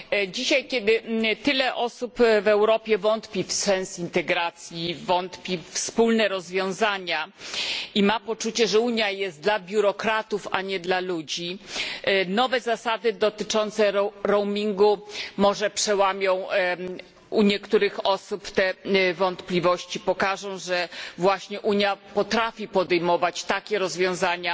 Dzisiaj, kiedy tyle osób w Europie wątpi w sens integracji, wątpi we wspólne rozwiązania i ma poczucie, że Unia jest dla biurokratów, a nie dla ludzi, nowe zasady dotyczące roamingu może przełamią u niektórych osób te wątpliwości, pokażą, że właśnie Unia potrafi podejmować takie rozwiązania,